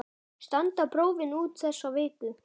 Standa prófin út þessa viku.